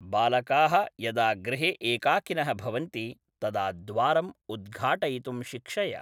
बालकाः यदा गृहे एकाकिनः भवन्ति, तदा द्वारम् उद्घाटयितुं शिक्षय